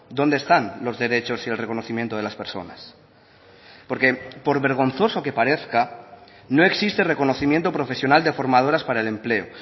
dónde están los derechos y el reconocimiento de las personas porque por vergonzoso que parezca no existe reconocimiento profesional de formadoras para el empleo